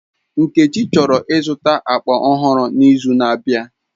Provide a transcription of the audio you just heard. Nkechi chọrọ ịzụta akpa ọhụrụ n'izu na-abịa.